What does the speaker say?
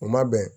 U ma bɛn